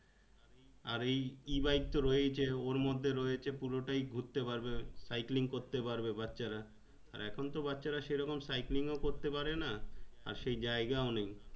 আর এই E-bike তো রহয়েছে ওর মধ্যে রয়েছে পুরো তাই ঘুরতে পারবে cycling করতে পারবে বাচ্চারা এখুন তো বাচ্চারা সেরকম cycling ও করতে পারে না আর সেই জায়গায় নেই